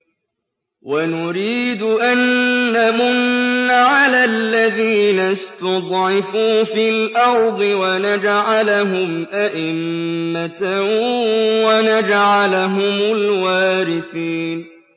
وَنُرِيدُ أَن نَّمُنَّ عَلَى الَّذِينَ اسْتُضْعِفُوا فِي الْأَرْضِ وَنَجْعَلَهُمْ أَئِمَّةً وَنَجْعَلَهُمُ الْوَارِثِينَ